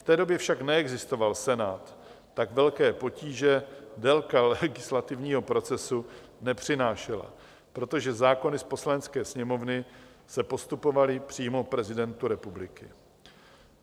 V té době však neexistoval Senát, tak velké potíže délka legislativního procesu nepřinášela, protože zákony z Poslanecké sněmovny se postupovaly přímo prezidentu republiky.